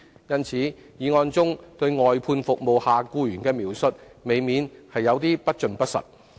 因此，議案中對外判服務下僱員的描述，未免有點不盡不實。